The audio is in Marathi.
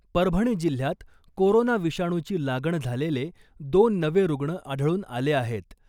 परभणी जिल्ह्यात कोरोना विषाणूची लागण झालेले दोन नवे रुग्ण आढळून आले आहेत .